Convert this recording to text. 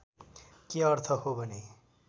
के अर्थ हो भने